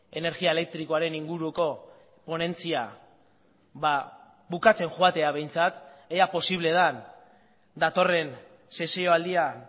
energia elektrikoaren inguruko ponentzia bukatzen joatea behintzat ea posible den datorren sesioaldian